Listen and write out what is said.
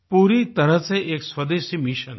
पूरी तरह से एक स्वदेशी मिशन है